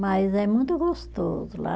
Mas é muito gostoso lá.